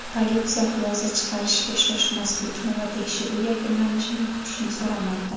Politsiya xulosa chiqarishga shoshmaslikni va tekshiruv yakunlanishini kutishni so‘ramoqda.